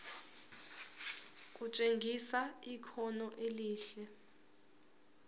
kutshengisa ikhono elihle